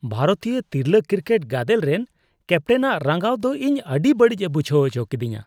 ᱵᱷᱟᱨᱚᱛᱤᱭᱟᱹ ᱛᱤᱨᱞᱟᱹ ᱠᱨᱤᱠᱮᱴ ᱜᱟᱫᱮᱞ ᱨᱮᱱ ᱠᱮᱯᱴᱮᱱᱟᱜ ᱨᱟᱸᱜᱟᱣ ᱫᱚ ᱤᱧ ᱟᱹᱰᱤ ᱵᱟᱹᱲᱤᱡᱽ ᱮ ᱵᱩᱡᱷᱟᱹᱣ ᱟᱪᱚ ᱠᱤᱫᱤᱧᱟ ᱾